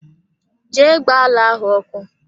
Jee gba ala ahụ ọkụ!